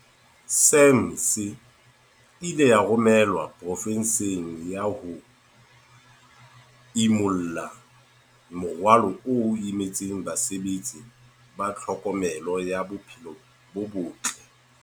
SAMHS e ile ya romelwa profenseng eo ho ya imulla morwalo o imetseng basebetsi ba tlhokomelo ya bophelo bo botle.